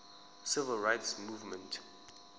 civil rights movement